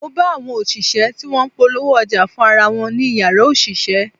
Mo bá àwọn òṣìṣẹ́ tí wọ́n ń polówó ọjà fún ara wọn ní Ìyàrá òṣìṣẹ́.